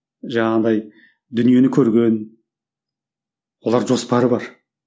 жаңағыдай дүниені көрген олар жоспары бар